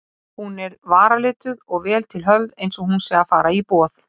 Hún er varalituð og vel til höfð einsog hún sé að fara í boð.